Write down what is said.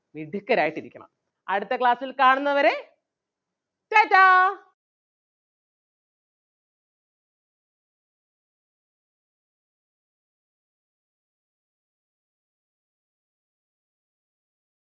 മിടുക്കരായിട്ട് ഇരിക്കണം. അടുത്ത class ൽ കാണുന്നവരെ ta ta